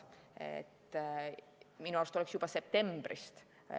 Minu arust oleks pidanud seda tegema juba septembrist.